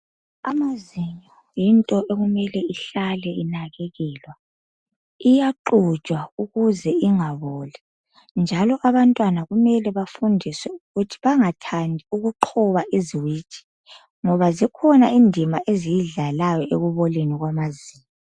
Amazinyo yinto okumele ihlale inakekelwa. Iyaxujwa ukuze ingaboli njalo abantwana kumele bafundiswe ukuthi bangathandi ukuqhoba iziwiji ngoba zikhona indima eziyidlalayo ekuboleni kwamazinyo.